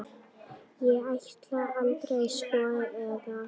Ég ætlaði aldrei, sko, eða.